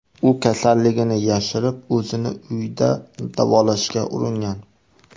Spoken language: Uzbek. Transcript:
U kasalligini yashirib, o‘zini uyda davolashga uringan.